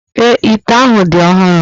Èé, ite ahụ dị ọhụrụ.